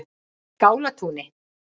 Skálatúni